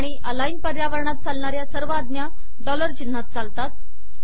आणि अलाइन पर्यावरणात चालणाऱ्या सर्व आज्ञा डॉलर चिन्हात चालतात